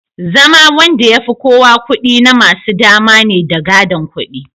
zama Wanda yafi kowa kudi namasu dama ne da gadon kudi